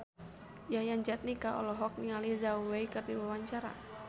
Yayan Jatnika olohok ningali Zhao Wei keur diwawancara